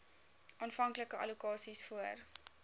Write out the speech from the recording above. aanvanklike allokasies voor